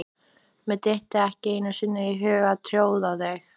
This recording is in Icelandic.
Mér dytti ekki einu sinni í hug að tjóðra mig.